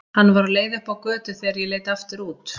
Hann var á leið upp á götu þegar ég leit aftur út.